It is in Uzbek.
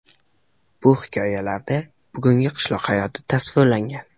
Bu hikoyalarida bugungi qishloq hayoti tasvirlangan.